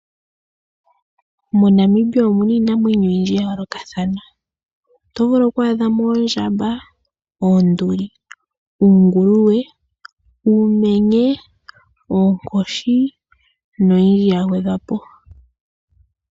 MoNamibia omuna iinamwenyo oyindji ya yoolokathana. Oto vulu oku adha mo oondjamba, oonduli, uunguluwe, uumenye, oonkoshi noyindji ya gwedhwa po.